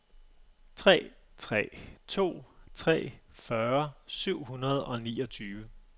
tre tre to tre fyrre syv hundrede og niogtyve